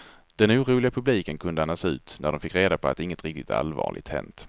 Den oroliga publiken kunde andas ut när de fick reda på att inget riktigt allvarligt hänt.